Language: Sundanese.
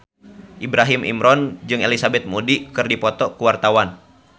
Ibrahim Imran jeung Elizabeth Moody keur dipoto ku wartawan